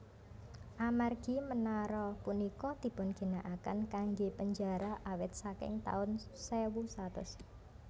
Amargi menara punika dipunginakaken kanggé penjara awit saking taun sewu satus